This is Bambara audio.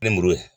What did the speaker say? Ni muru ye